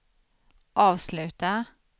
avsluta